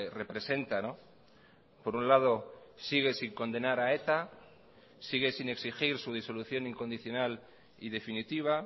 representa por un lado sigue sin condenar a eta sigue sin exigir su disolución incondicional y definitiva